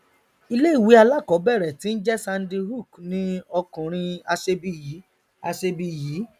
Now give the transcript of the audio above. ìléìwé alákọọbẹrẹ tí njẹ sandy hook ni ọkùrin aṣebi yìí aṣebi yìí